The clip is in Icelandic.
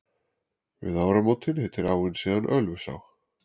við ármótin heitir áin síðan ölfusá